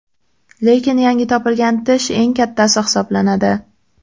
Lekin yangi topilgan tish eng kattasi hisoblanadi.